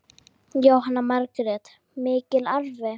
Jóhanna Margrét: Mikill arfi?